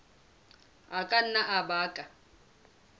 a ka nna a baka